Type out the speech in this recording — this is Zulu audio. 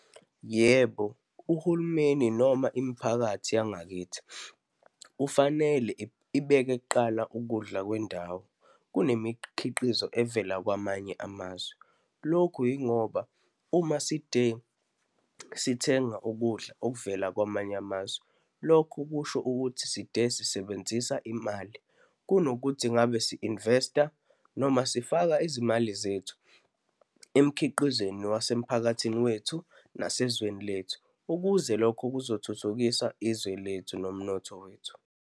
Yebo, uhulumeni noma imiphakathi yangakithi, kufanele ibeke kuqala ukudla kwendawo kunemikhiqizo evela kwamanye amazwe. Lokhu yingoba uma side sithenga ukudla okuvela kwamanye amazwe, lokho kusho ukuthi side sisebenzisa imali kunokuthi ngabe si-invest-a noma sifake izimali zethu emikhiqizweni wasemphakathini wethu nasezweni lethu, ukuze lokho kuzothuthukisa izwe lethu nomnotho wethu.